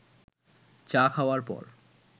চা খাওয়ার পর